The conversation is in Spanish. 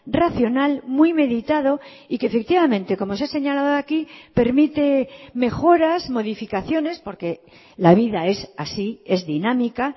racional muy meditado y que efectivamente como se ha señalado aquí permite mejoras modificaciones porque la vida es así es dinámica